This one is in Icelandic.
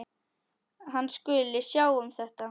Hann skuli sjá um þetta.